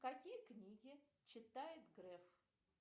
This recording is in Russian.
какие книги читает греф